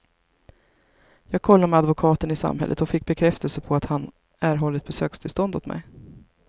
Jag kollade med advokaten i samhället och fick bekräftelse på att han erhållit besökstillstånd åt mig.